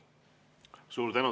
Suur tänu!